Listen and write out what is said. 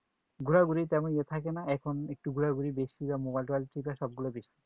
ঘুরাঘুরি তেমন ই থাকে না এখন ঘোরাঘুরি একটু বেশি Mobile টোবাইল দেখা সবকিছু বেশি